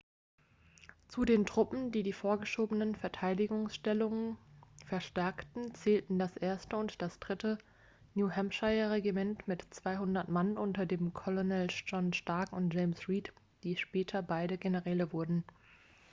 zu den truppen die die vorgeschobenen verteidigungsstellungen verstärkten zählten das 1. und das 3. new-hampshire-regiment mit 200 mann unter den colonels john stark und james reed die später beide generäle wurden